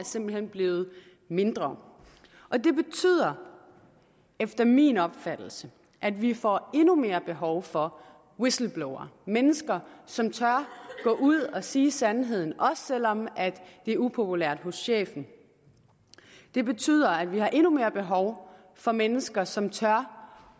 simpelt hen blevet mindre det betyder efter min opfattelse at vi får endnu mere behov for whistleblowere mennesker som tør gå ud og sige sandheden også selv om det er upopulært hos chefen det betyder at vi har endnu mere behov for mennesker som tør